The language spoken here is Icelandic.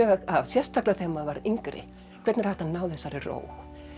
af sérstaklega þegar maður var yngri hvernig er hægt að ná þessari ró